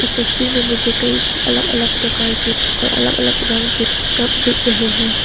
तस्वीर में मुझे अलग अलग प्रकार की और अलग अलग रंग के कप दिख रहे हैं।